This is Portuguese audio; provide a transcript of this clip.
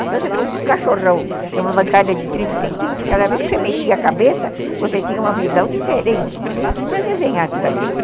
Então, você pôr um cachorrão numa bancada de trinta centímetros, cada vez que você mexia a cabeça, você tinha uma visão diferente para desenhar tudo aquilo.